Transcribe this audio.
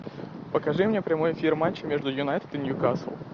покажи мне прямой эфир матча между юнайтед и ньюкасл